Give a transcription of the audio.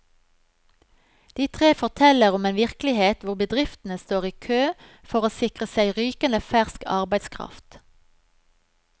De tre forteller om en virkelighet hvor bedriftene står i kø for å sikre seg rykende fersk arbeidskraft.